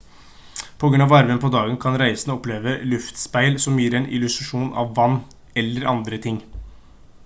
på grunn av varmen på dagen kan reisende oppleve luftspeil som gir en illusjon av vann eller andre ting